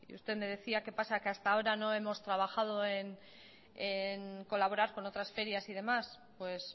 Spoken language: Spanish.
usted me decía qué pasa que hasta ahora no hemos trabajado en colaborar con otras ferias y demás pues